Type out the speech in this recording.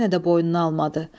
Yenə də boynuna almadı.